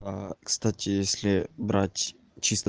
кстати если брать чисто